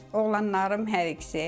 Oğlanlarım hər ikisi.